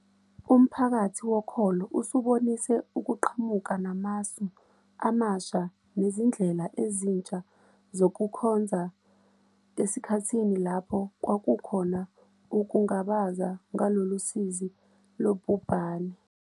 Umphakathi wokholo usubonise ukuqhamuka namasu amasha nezindlela ezintsha zokukhonza esikhathini lapho kwakukhona ukungabaza ngalolu sizi lobhubhane.